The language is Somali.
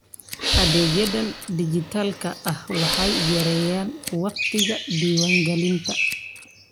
Adeegyada dijitaalka ah waxay yareeyaan wakhtiga diiwaangelinta.